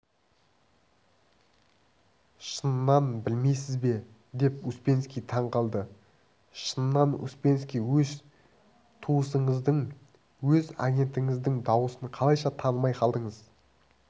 шыннан білмейсіз бе деп успенский таңғалды шыннан успенский өз туысыңыздың өз агентіңіздің дауысын қалайша танымай қалдыңыз